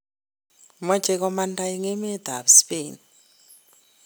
Moche komanda en emet ab Spain .